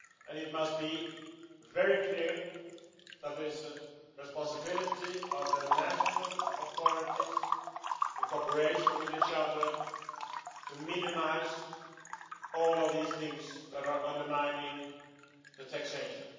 It must be very clear there is a responsibility for national authorities, in cooperation with each other, to minimise all of these things that are undermining taxation.